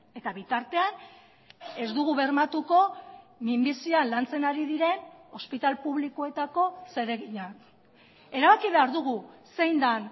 eta bitartean ez dugu bermatuko minbizia lantzen ari diren ospitale publikoetako zereginak erabaki behar dugu zein den